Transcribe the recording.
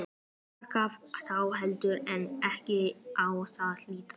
Þar gaf þá heldur en ekki á að líta.